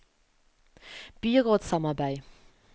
byrådssamarbeid